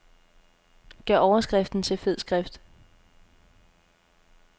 Gør overskriften til fed skrift.